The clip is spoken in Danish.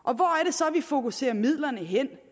så vi fokuserer midlerne hen